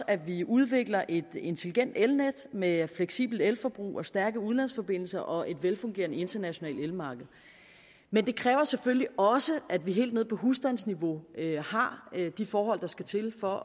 at vi udvikler et intelligent elnet med fleksibelt elforbrug og stærke udlandsforbindelser og et velfungerende internationalt elmarked men det kræver selvfølgelig også at vi helt nede på husstandsniveau har de forhold der skal til for